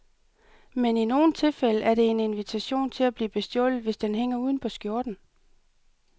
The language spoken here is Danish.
Men i nogle tilfælde er det en invitation til at blive bestjålet, hvis den hænger uden på skjorten.